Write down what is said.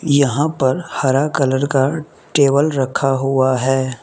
यहां पर हरा कलर का टेबल रखा हुआ है।